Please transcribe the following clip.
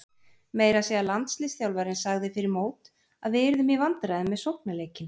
Meira að segja landsliðsþjálfarinn sagði fyrir mót að við yrðum í vandræðum með sóknarleikinn.